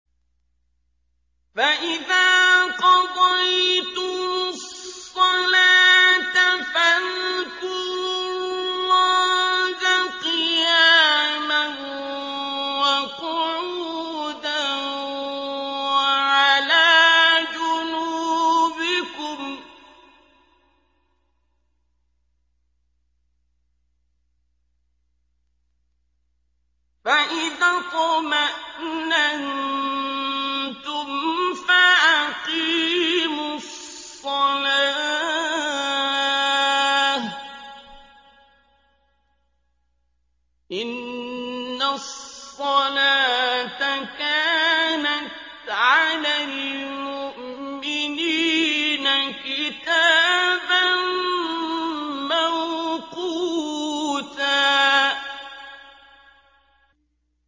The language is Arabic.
فَإِذَا قَضَيْتُمُ الصَّلَاةَ فَاذْكُرُوا اللَّهَ قِيَامًا وَقُعُودًا وَعَلَىٰ جُنُوبِكُمْ ۚ فَإِذَا اطْمَأْنَنتُمْ فَأَقِيمُوا الصَّلَاةَ ۚ إِنَّ الصَّلَاةَ كَانَتْ عَلَى الْمُؤْمِنِينَ كِتَابًا مَّوْقُوتًا